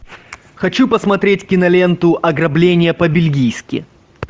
хочу посмотреть киноленту ограбление по бельгийски